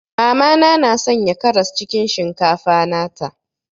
Mama na na Sanya karas cikin shinkafa nata.